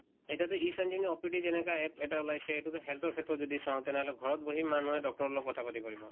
এতিয়াটোয়ে Sanjeevani OPD যেনেকা APP এটা ওলাইছে সেইতোটো health ৰ ক্ষেত্ৰত যদি চাওঁ তেনেহলে ঘৰত বহি মানুহে doctor ৰ লগত কথা পাতিব পাৰিব।